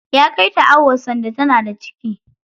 Ya kai ta awo sanda tana da ciki.